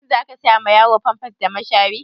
Shin za ka saya ma yaro famfas da mashari?